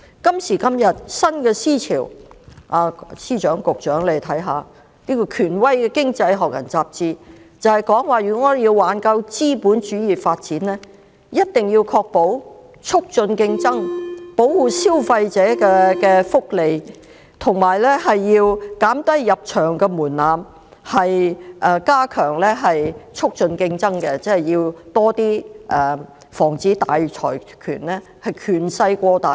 今時今日，新思潮湧現，請司長及局長看看，權威的《經濟學人》雜誌指出，如果我們要挽救資本主義發展，一定要確保促進競爭、保護消費者的福祉，以及減低入場門檻，加強促進競爭，即是要多加防止大財團權勢過大。